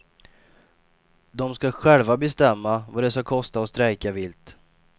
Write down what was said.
De ska själva bestämma vad det ska kosta att strejka vilt.